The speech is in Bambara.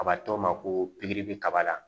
A b'a to ma ko pikiri bi kaba la